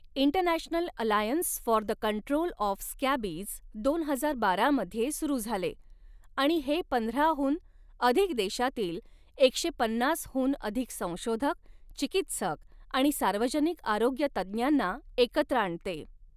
International alliance for the control of scabies दोन हजार बारा मध्ये सुरू झाले आणि हे पंधराहून अधिक देशांतील एकशे पन्नासहून अधिक संशोधक, चिकित्सक आणि सार्वजनिक आरोग्य तज्ञांना एकत्र आणते.